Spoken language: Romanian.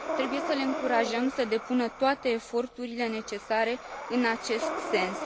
Trebuie să le încurajăm să depună toate eforturile necesare în acest sens.